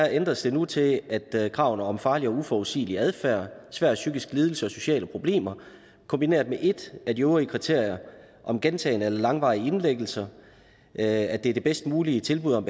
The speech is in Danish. ændres det nu til at kravene om farlig og uforudsigelig adfærd svær psykisk lidelse og sociale problemer kombineres med et af de øvrige kriterier om gentagen eller langvarig indlæggelse at det er det bedst mulige tilbud om